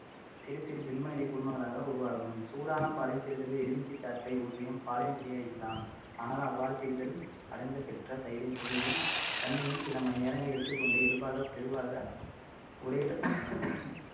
சிறு சிறு திண்ம நிலை குழும்மங்களாக உருவாகும் சூடான பாலில் சிறிதளவு எலுமிச்சைச் சாற்றை ஊற்றியும் பாலினை திரிய வைக்கலாம் ஆனால் அவ்வாறு திரிதல் அடைந்த பெற்ற தயிரின் சுவையும் தன்மையும் சில மணி நேரங்களில் எடுத்துக் கொண்டு இயல்பாக ஒரே